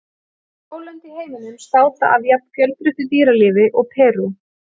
Fá lönd í heiminum státa af jafn fjölbreyttu dýralífi og Perú.